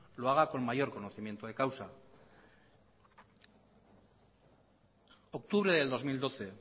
lo haga con mayor conocimiento de causa en octubre del dos mil doce